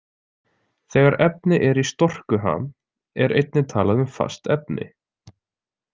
Þegar efni er í storkuham er einnig talað um fast efni.